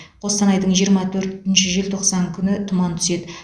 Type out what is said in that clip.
қостанайдың жиырма төртінші желтоқсан күні тұман түседі